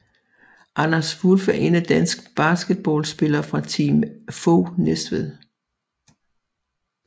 Anders Wulff er en dansk basketballspiller fra Team FOG Næstved